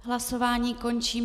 Hlasování končím.